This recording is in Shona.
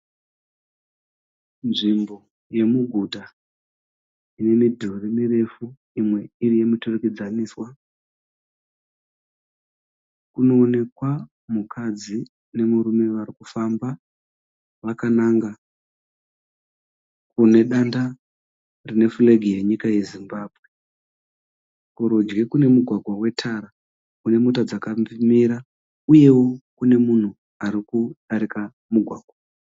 Nzvimbo yemuguta ine midhuru mirefu imwe iri yemuturikidzaniswa. Kunoonekwa mukadzi nemurume vari kufamba vakananga kune danda rine flag yenyika yeZimbabwe. Kurudyi kune mugwagwa wetara kune mota dzakamira uyewo kune munhu ari kudarika mugwagwa.